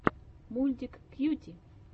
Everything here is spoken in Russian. мультик кьюти